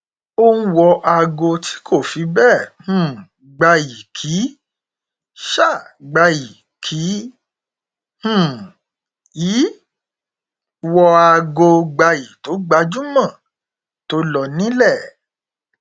ó ń wọ aago tí kò fi bẹẹ um gbayì kì um gbayì kì um í wọ aago gbayì tó gbajúmọ tó lọ nílẹ